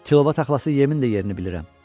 Tilova taxılası yemin də yerini bilirəm.